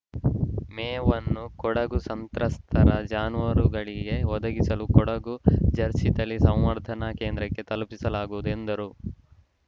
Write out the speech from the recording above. ಮೇವನ್ನು ಕೊಡುಗು ಸಂತ್ರಸ್ತರ ಜಾನುವಾರುಗಳಿಗೆ ಒದಗಿಸಲು ಕೊಡಗು ಜರ್ಸಿ ತಳಿ ಸಂವರ್ಧನಾ ಕೇಂದ್ರಕ್ಕೆ ತಲುಪಿಸಲಾಗುವುದು ಎಂದರು